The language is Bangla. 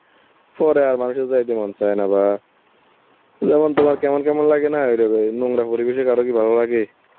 পরে আর মানুষের যাইতে মন চায় না বা যেমন তোমার কেমন কেমন লাগেনা, এরকম এই নোংরা পরিবেশে কারো কি ভালো লাগে?